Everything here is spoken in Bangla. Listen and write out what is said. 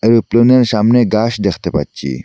এই প্লেনের সামনে গাস দেখতে পাচ্ছি।